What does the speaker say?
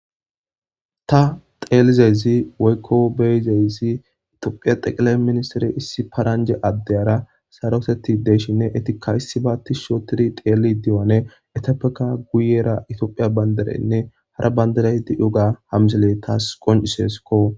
Ta teelizezi woykko beyizezi itophiya xeqele ministire issi paranje addeyara saroteti deeshinne etika issi baatti shootiri teeli diyone etiopeka guyera itophiya banderenne hara banderey di yoga hamzele taas qonciseskko.